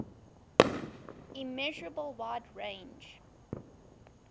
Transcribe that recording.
immeasurable wide range